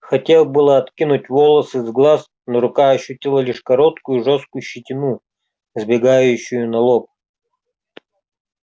хотел было откинуть волосы с глаз но рука ощутила лишь короткую жёсткую щетину сбегающую на лоб